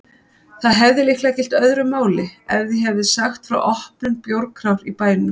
Það hefði líklega gilt öðru máli ef ég hefði sagt frá opnun bjórkrár í bænum!